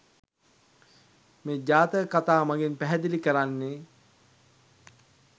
මේ ජාතක කතා මගින් පැහැදිලි කරන්නේ